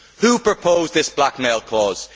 Who proposed this blackmail clause?